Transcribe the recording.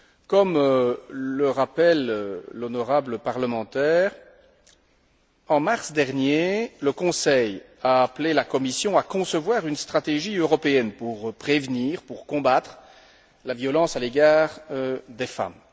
Comme l'a rappelé l'honorable parlementaire, en mars dernier, le Conseil a appelé la Commission à concevoir une stratégie européenne pour prévenir et pour combattre, la violence à l'égard des femmes.